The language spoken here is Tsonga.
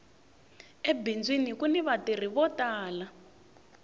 ebindzwini kuni va tirhi vo tala